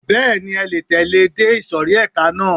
Bẹ́ẹ̀ni, ẹ le tẹ̀lẹ́ ẹ dé ìsòrí ẹka náà.